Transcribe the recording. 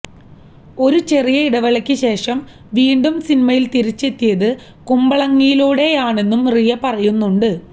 ഒരു ചെറിയ ഇടവേളയ്ക്ക് ശേഷം വീണ്ടും സിനിമയിൽ തിരിച്ചെത്തിയത് കുമ്പളങ്ങിയിലൂടെയാണെന്നും റിയ പറയുന്നുണ്ട്